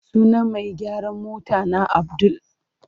Sunan mai gyaran motana Abdul.